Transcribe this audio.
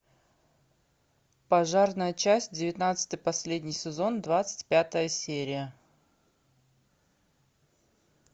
пожарная часть девятнадцатый последний сезон двадцать пятая серия